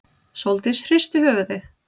Sóldís hristi höfuðið.